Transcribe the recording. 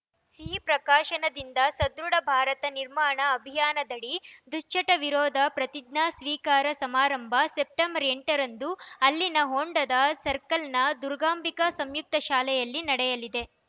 ಸಿಹಿ ಪ್ರಕಾಶನದಿಂದ ಸದೃಢ ಭಾರತ ನಿರ್ಮಾಣ ಅಭಿಯಾನದಡಿ ದುಶ್ಚಟ ವಿರೋಧಿ ಪ್ರತಿಜ್ಞಾ ಸ್ವೀಕಾರ ಸಮಾರಂಭ ಸೆಪ್ಟೆಂಬರ್ ಎಂಟ ರಂದು ಇಲ್ಲಿನ ಹೊಂಡದ ಸರ್ಕಲ್‌ನ ದುರ್ಗಾಂಬಿಕಾ ಸಂಯುಕ್ತ ಶಾಲೆಯಲ್ಲಿ ನಡೆಯಲಿದೆ